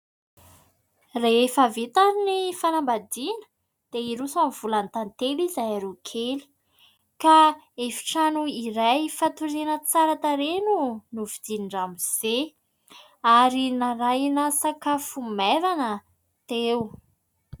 Rehefa vita ny fanambadiana, dia hiroso amin'ny volan-tantely izahay roa kely. Ka efitrano iray fatoriana tsara tarehy no novidian'i Ramose. Ary narahina sakafo maivana teo.